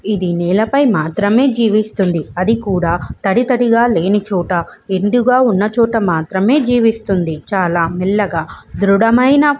ఇది నేలపై మాత్రమే జీవిస్తుంది. అది కూడా తడి తడిగా లేని చోట ఎండు గా ఉన్నచోట మాత్రమే జీవిస్తుంది. చాలా మెల్లగా దృఢమైన --